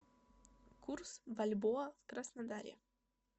курс бальбоа в краснодаре